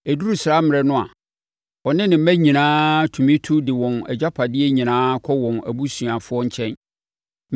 Ɛduru saa mmerɛ no a, ɔne ne mma nyinaa tumi tu de wɔn agyapadeɛ nyinaa kɔ wɔn abusuafoɔ nkyɛn.